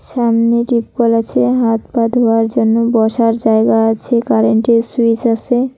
সামনে টিউব কল আছে হাত পা ধোয়ার জন্য বসার জায়গা আছে কারেন্টের সুইচ আছে।